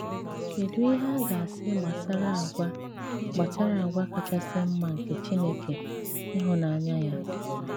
Kèdù ìhè a ga-àsị gbasàrà àgwà́ gbasàrà àgwà́ kàchị̀sì mma nke Chìnèké, ìhụ̀nànyà ya?